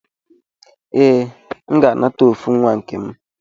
Ee, M ga-anata ofu nwa nkem.